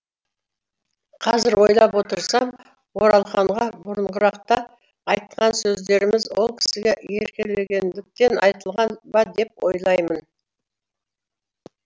қазір ойлап отырсам оралханға бұрынырақта айтқан сөздеріміз ол кісіге еркелегендіктен айтылған ба деп ойлаймын